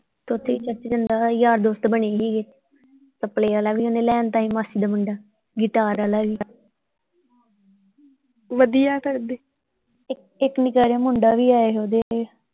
ਯਾਰ ਦੋਸਤ ਬਣੇ ਸੀਗੇ ਤਬਲੇ ਵਾਲਾ ਓਹਨੇ ਲੈ ਆਂਦਾ ਸੀ ਮਾਸੀ ਦਾ ਮੁੰਡਾ ਅ guitar ਆਲਾ ਵੀ ਵਧੀਆ ਇੱਕ ਨਿੱਕਾ ਜਿਹਾ ਮੁੰਡਾ ਵੀ ਆਇਆ ਸੀ ਉਹਦੇ।